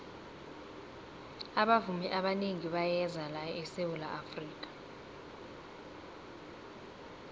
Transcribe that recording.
abavumi abanengi bayeza la esawula afrika